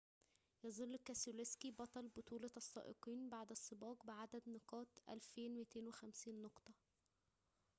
يظل كيسلوسكي بطل بطولة السائقين بعد السباق بعدد نقاط 2250 نقطة